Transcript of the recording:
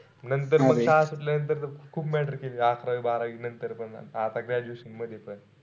नंतर तर म शाळा सुटल्यानंतर त खूप matter केले. अकरावी बारावी नंतर पण आता graduation मध्ये पण.